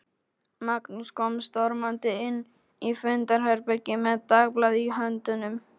Magnús kom stormandi inn í fundarherbergið með dagblað í höndunum.